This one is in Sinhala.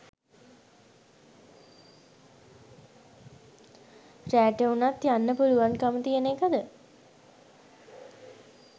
රෑට උනත් යන්න පුලුවන්කම තියෙන එකද?